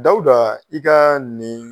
Dawuda i ka nin